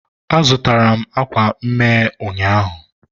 a zụtara m akwa mme ụnyaahụ.